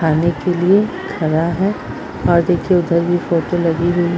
खाने के लिए खड़ा है और देखिए उधर भी फोटो लगी हुई --